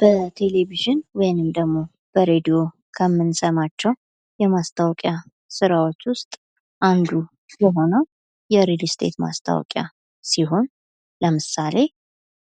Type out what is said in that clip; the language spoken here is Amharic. በቴሌቪዥን ወይንም በሬድዮ ከምንሰማቸው የማስታወቂያ ስራዎች ውስጥ አንዱ ነው የ ሪል ስቴት ማስታወቂያ ሲሆን ለምሳሌ